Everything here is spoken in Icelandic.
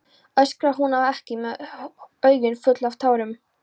öskrar hún á hann með augun full af tárum.